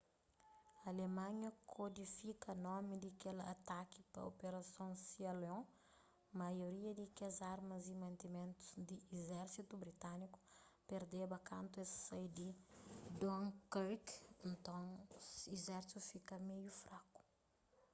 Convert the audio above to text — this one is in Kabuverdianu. alemanha kódifika nomi di kel ataki pa 'operason sealion maioria di kes armas y mantimentus di izérsitu britániku perdeba kantu es sai di dunkirk nton izérsitu fika meiu fraku